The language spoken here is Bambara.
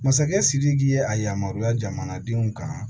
Masakɛ sidiki ye a yamaruya jamanadenw kan